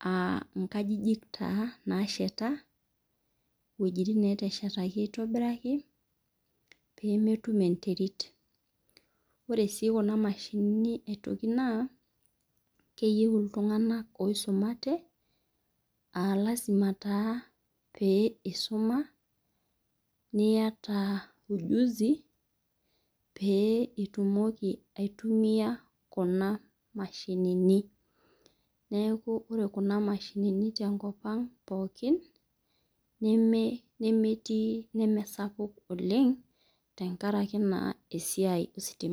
aa nkajijik nasheta weujitin nashetishoi esidai oemetum enterit ore si kuna mashinini na keyieu ltunganak oisumate alasima taa peisuma niata unuzi peitumoki aitumia kuna mashinini neaku ore taata kuna mashinini tenkop aang nemesapuk oleng tenkaraki esiai ositima.